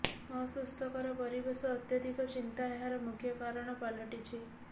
ଅସୁସ୍ଥକର ପରିବେଶ ଅତ୍ୟଧିକ ଚିନ୍ତା ଏହାର ମୁଖ୍ୟ କାରଣ ପାଲଟିଛି